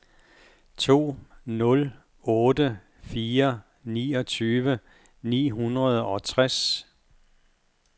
to nul otte fire niogtyve ni hundrede og tres